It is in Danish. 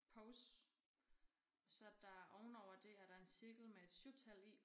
Pause og så der ovenover det er der en cirkel med et syvtal i